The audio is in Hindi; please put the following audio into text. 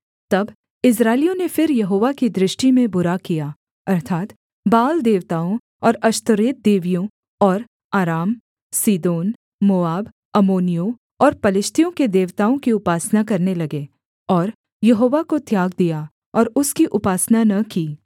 तब इस्राएलियों ने फिर यहोवा की दृष्टि में बुरा किया अर्थात् बाल देवताओं और अश्तोरेत देवियों और अराम सीदोन मोआब अम्मोनियों और पलिश्तियों के देवताओं की उपासना करने लगे और यहोवा को त्याग दिया और उसकी उपासना न की